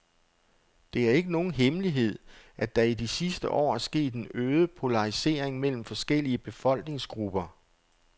Det er ikke nogen hemmelighed, at der i de sidste år er sket en øget polarisering mellem forskellige befolkningsgrupper.